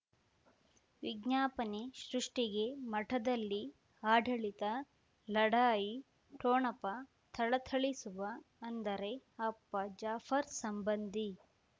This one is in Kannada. ವಿಜ್ಞಾಪನೆ ಸೃಷ್ಟಿಗೆ ಮಠದಲ್ಲಿ ಆಡಳಿತ ಲಢಾಯಿ ಠೊಣಪ ಥಳಥಳಿಸುವ ಅಂದರೆ ಅಪ್ಪ ಜಾಫರ್ ಸಂಬಂಧಿ